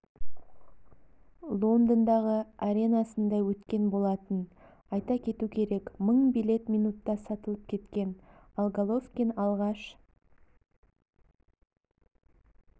лондондағы аренасында өткен болатын айта кету керек мың билет минутта сатылып кеткен ал головкин алғаш